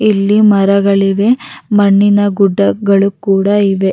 ಇಲ್ಲಿ ಮರಗಳಿವೆ ಮಣ್ಣಿನ ಗುಡ್ಡಗಳ್ ಕೂಡ ಇವೆ.